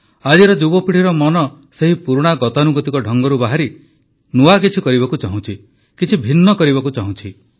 ଆଜିର ଯୁବପିଢ଼ିର ମନ ସେହି ପୁରୁଣା ଗତାନୁଗତିକ ଢଙ୍ଗରୁ ବାହାରି କିଛି ନୂଆ କରିବାକୁ ଚାହୁଁଛି କିଛି ଭିନ୍ନ କରିବାକୁ ଚାହୁଁଛି